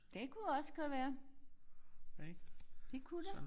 Det kunne også godt være. Det kunne det